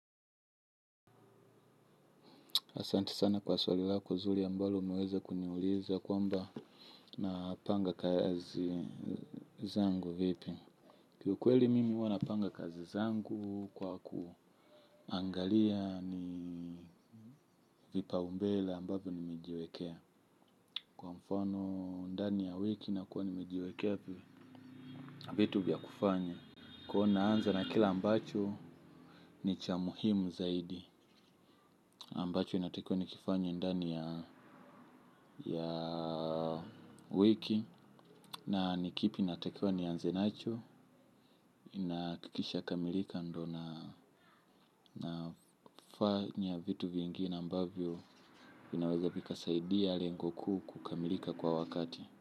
Asanti sana kwa swali lako zuli ambalo umeweza kuniuliza kwamba napanga kazi zangu vipi. Kiukweli mimi huwa napanga kazi zangu kwa kuangalia ni vipaumbele ambavo nimejiwekea. Kwa mfano ndani ya wiki nakuwa nimejiwekea vitu vya kufanya. Ko naanza na kila ambacho ni cha muhimu zaidi. Ambacho inatakiwa nikifanye ndani ya wiki na ni kipi natakiwa nianze nacho na kikisha kamilika ndo nafanya vitu vingine ambavyo vinaweza vikasaidia lengo kuu kukamilika kwa wakati.